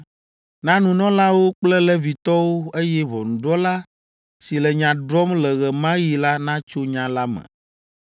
na nunɔlawo kple Levitɔwo, eye ʋɔnudrɔ̃la si le nya drɔ̃m le ɣe ma ɣi la natso nya la me.